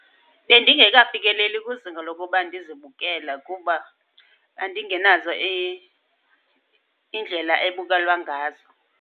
Bendingekafikeleli kwizinga lokuba ndizibukela kuba ndingenazo iindlela ebukelwa ngazo.